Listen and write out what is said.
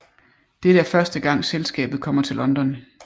Dette er første gang selskabet kommer til London